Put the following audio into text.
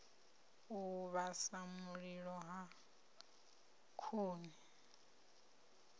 u vhasa mililo wa khuni